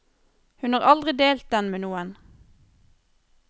Hun har aldri delt den med noen.